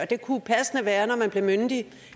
det kunne passende være når man bliver myndig